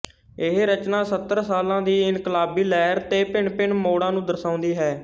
ਇਹ ਰਚਨਾ ਸੱਤਰ ਸਾਲਾਂ ਦੀ ਇਨਕਲਾਬੀ ਲਹਿਰ ਦੇ ਭਿੰਨਭਿੰਨ ਮੋੜਾਂ ਨੂੰ ਦਰਸਾਉਂਦੀ ਹੈ